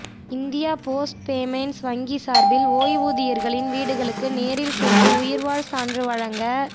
India post payments வங்கி சாா்பில் ஓய்வூதியா்களின் வீடுகளுக்கு நேரில் சென்று உயிா்வாழ் சான்று வழங்க